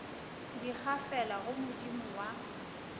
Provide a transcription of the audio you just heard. di gafela go modimo wa